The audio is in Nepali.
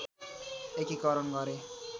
एकीकरण गरे